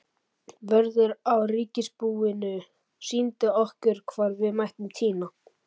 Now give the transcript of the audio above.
Vörður á ríkisbúinu sýndi okkur hvar við mættum tína.